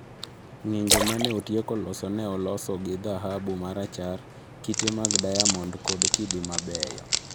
Ng’injo ma ne otieko loso ne olosi gi dhahabu marachar, kite mag diamond kod kidi mabeyo.